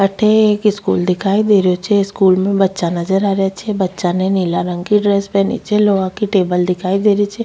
अठे एक स्कूल दिखाई दे रेहो छे स्कूल में बच्चा नजर आ रेहा छे बच्चा ने नीला रंग की ड्रेस पहनी छे लोहा की टेबल दिखाई दे री छे।